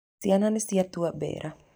Ciana nĩ ciatua mbera.